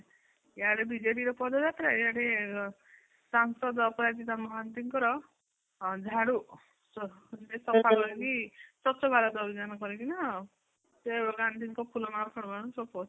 ୟାଡେ ବିଜେଡିର ପଦଯାତ୍ରା ୟାଡେ ସାଂସଦ ଅପରାଜିତା ମହାନ୍ତିଙ୍କର ଆଁ ଝାଡୁ ସଫା କରିକି ସ୍ବଚ୍ଛ ଭାରତ ଅଭିଯାନ କରିକି ନା ସେ ଗାନ୍ଧୀ ଙ୍କ ଫୁଲମାଳ ଫଳମାଳ ସବୁ